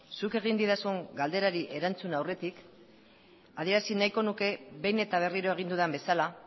zuk egin didazun galderari erantzun aurretik adierazi nahiko nuke behin eta berriro egin dudan bezala